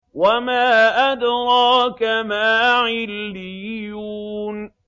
وَمَا أَدْرَاكَ مَا عِلِّيُّونَ